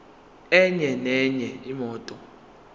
enye nenye imoto